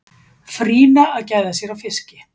Frýna að gæða sér á fiski.